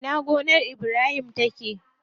A ina gonar Ibrahim take?